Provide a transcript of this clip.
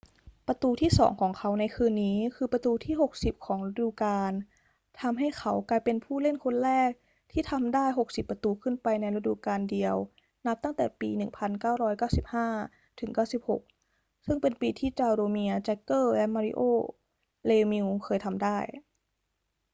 ประตูที่สองของเขาในคืนนี้คือประตูที่ 60 ของฤดูกาลทำให้เขากลายเป็นผู้เล่นคนแรกที่ทำได้ 60 ประตูขึ้นไปในฤดูกาลเดียวนับตั้งแต่ปี 1995-96 ซึ่งเป็นปีที่จาโรเมียร์ แจ็กเกอร์และมาริโอ เลมิวซ์เคยทำได้